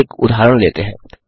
चलिए एक उदाहरण लेते हैं